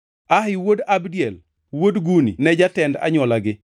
Ahi wuod Abdiel, wuod Guni ne en jatend anywolagi.